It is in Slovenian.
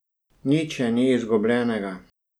Nič še nič izgubljenega.